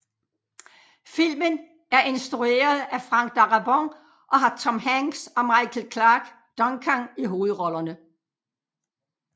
Filmen er instrueret af Frank Darabont og har Tom Hanks og Michael Clarke Duncan i hovedrollerne